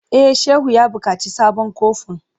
E, Shehu ya buƙaci sabon kofin.